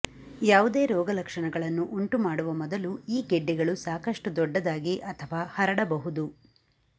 ಯಾವುದೇ ರೋಗಲಕ್ಷಣಗಳನ್ನು ಉಂಟುಮಾಡುವ ಮೊದಲು ಈ ಗೆಡ್ಡೆಗಳು ಸಾಕಷ್ಟು ದೊಡ್ಡದಾಗಿ ಅಥವಾ ಹರಡಬಹುದು